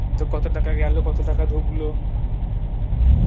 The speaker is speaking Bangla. তোর কত টাকা গেল কত টাকা ঢুকলো